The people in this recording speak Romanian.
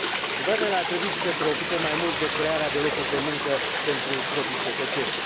Guvernele ar trebui să se preocupe mai mult de crearea de locuri de muncă pentru proprii cetățeni.